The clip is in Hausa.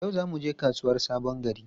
Yau za mu je kasuwar Sabon Gari?